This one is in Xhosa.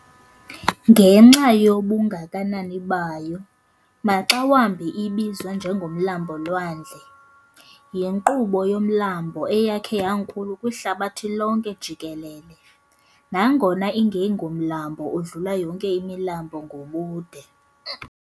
Ngenxa yobungakanani bayo, maxa wambi idbizwa njengo "Mlambo-lwandle". yinkqubo yomlambo eyakhe yankulu kwihlabathi lonke jikelele, nangona ingengomlambo udlula yonke imilambo ngobude.